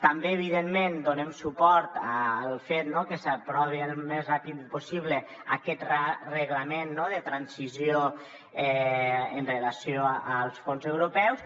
també evidentment donem suport al fet que s’aprovi al més ràpidament possible aquest reglament de transició amb relació als fons europeus